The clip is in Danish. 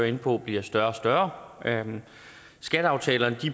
inde på bliver større og større skatteaftalerne